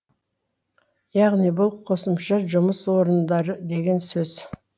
яғни бұл қосымша жұмыс орындары деген сөз